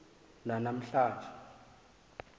nana mhla nje